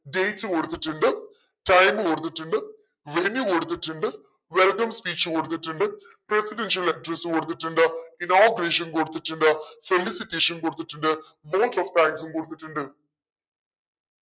dates കൊടുത്തിട്ടുണ്ട് time കൊടുത്തിട്ടുണ്ട് venue കൊടുത്തിട്ടുണ്ട് welcome speech കൊടുത്തിട്ടുണ്ട് presidential address കൊടുത്തിട്ടുണ്ട് inauguration കൊടുത്തിട്ടുണ്ട് felicitation കൊടുത്തിട്ടുണ്ട് vote of thanks ഉം കൊടുത്തിട്ടുണ്ട്.